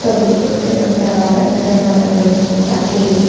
ಒಂದು ದೊಡ್ಡ ದೊಡ್ಡವಾದ ಗಿಡ ಮರಗಳು ಕೂಡ ಇವೆ.